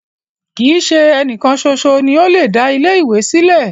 Kii ṣe ẹnìkan ṣoṣo ni o le da ilẹ ìwé sílẹ̀.